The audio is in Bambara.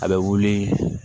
A bɛ wuli